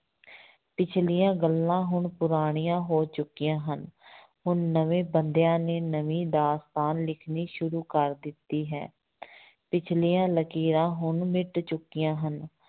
ਪਿੱਛਲੀਆਂ ਗੱਲਾਂ ਹੁਣ ਪੁਰਾਣੀਆਂ ਹੋ ਚੁੱਕੀਆਂ ਹਨ ਹੁਣ ਨਵੇਂ ਬੰਦਿਆਂ ਨੇ ਨਵੀਂ ਦਾਸਤਾਨ ਲਿਖਣੀ ਸ਼ੁਰੂ ਕਰ ਦਿੱਤੀ ਹੈ ਪਿੱਛਲੀਆਂ ਲਕੀਰਾਂ ਹੁਣ ਮਿੱਟ ਚੁੱਕੀਆਂ ਹਨ।